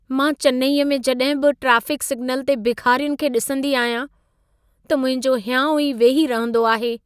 मां चेन्नई में जॾहिं बि ट्राफ़िक सिग्नल ते भेखारियुनि खे ॾिसंदी आहियां, त मुंहिंजो हियांउ ई वेही रहंदो आहे।